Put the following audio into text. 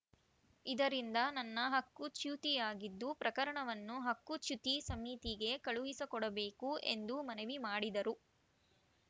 ಇದರಿಂದ ನನ್ನ ಹಕ್ಕು ಚ್ಯುತಿಯಾಗಿದ್ದು ಪ್ರಕರಣವನ್ನು ಹಕ್ಕುಚ್ಯುತಿ ಸಮಿತಿಗೆ ಕಳುಹಿಸಿಕೊಡಬೇಕು ಎಂದು ಮನವಿ ಮಾಡಿದರು